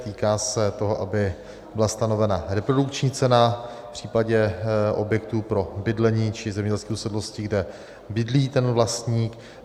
Týká se toho, aby byla stanovena reprodukční cena v případě objektů pro bydlení či zemědělských usedlostí, kde bydlí ten vlastník.